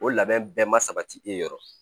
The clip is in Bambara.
O labɛn bɛɛ ma sabati e yɔrɔ